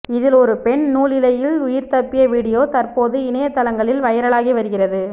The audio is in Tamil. இதில் ஒரு பெண் நூலிழையில் உயிர் தப்பிய வீடியோ தற்போது இணையதளங்களில் வைரலாகி வருகிறது